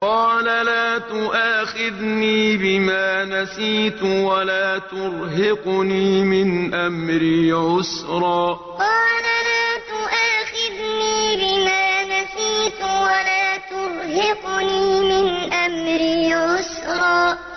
قَالَ لَا تُؤَاخِذْنِي بِمَا نَسِيتُ وَلَا تُرْهِقْنِي مِنْ أَمْرِي عُسْرًا قَالَ لَا تُؤَاخِذْنِي بِمَا نَسِيتُ وَلَا تُرْهِقْنِي مِنْ أَمْرِي عُسْرًا